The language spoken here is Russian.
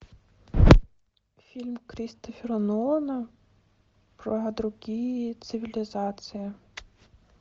фильм кристофера нолана про другие цивилизации